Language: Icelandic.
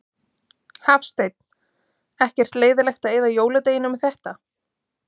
Hafsteinn: Ekkert leiðilegt að eyða jóladeginum í þetta?